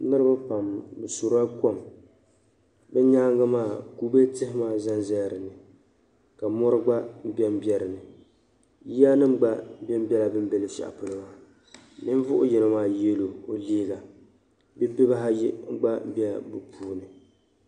Niriba pam bi suri la kom ni nyaanga maa libigi tihi maa zan zaya di puuni ka mori gba be n be di puuni yiya nim gba bela bin' be luɣ' shɛli polo maa ninvuɣ'yino yela liiga bɛ bi baayigba bela bi puuni